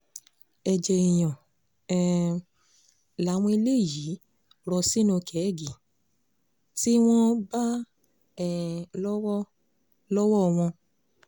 ẹ̀jẹ̀ èèyàn um làwọn eléyìí rọ sínú kẹ́ẹ́gì tí wọ́n bá um lọ́wọ́ lọ́wọ́ wọn